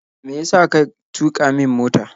Me yasa ka tuƙa min mota?